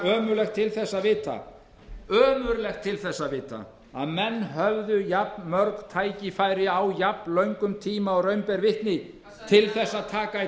ömurlegt til þess að vita að menn höfðu jafnmörg tækifæri og á jafnlöngum tíma og raun ber vitni til að taka í